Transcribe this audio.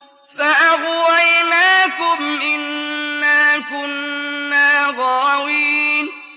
فَأَغْوَيْنَاكُمْ إِنَّا كُنَّا غَاوِينَ